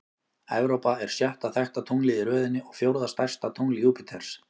Evrópa er sjötta þekkta tunglið í röðinni og fjórða stærsta tungl Júpíters.